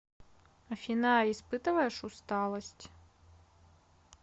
афина испытываешь усталость